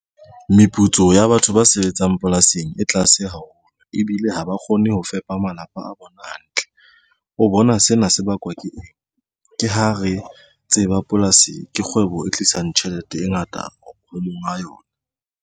Meputso ya batho ba sebetsang polasing e tlase haholo ebile ha ba kgone ho fepa malapa a bona hantle. O bona sena se bakwa ke eng ke ha re tseba polasi ke kgwebo e tlisang tjhelete e ngata ho monga yona.